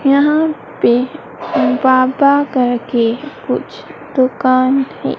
यहां पे बाबा कर के कुछ दुकान है।